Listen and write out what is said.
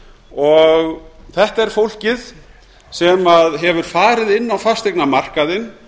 og þetta er fólkið sem hefur farið inn á fasteignamarkaðinn